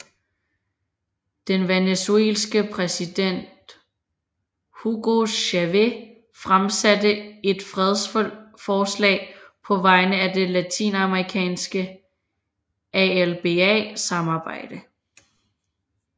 Den venezuelanske præsident Hugo Chavez fremsatte et fredsforslag på vegne af det latinamerikanske ALBA samarbejde